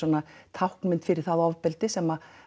táknmynd fyrir það ofbeldi sem